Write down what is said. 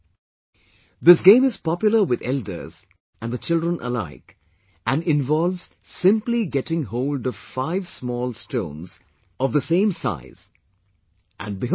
" This game is popular with elders and the children alike and involves simply getting hold of five small stones of the same size and Behold